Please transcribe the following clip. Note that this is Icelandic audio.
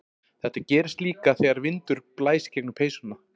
Þetta gerist líka þegar vindur blæs gegnum peysuna.